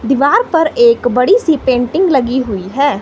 दीवार पर एक बड़ी सी पेंटिंग लगी हुई है।